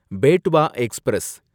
Betwa express